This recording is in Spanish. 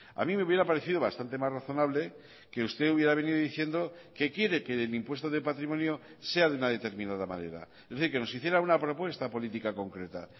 a mí me hubiera parecido bastante más razonable que usted hubiera venido diciendo que quiere que el impuesto de patrimonio sea de una determinada manera es decir que nos hiciera una propuesta política concreta